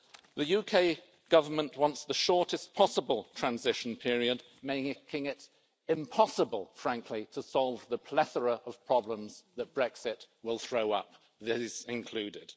The UK Government wants the shortest possible transition period, making it impossible, frankly, to solve the plethora of problems that Brexit will throw up, this included.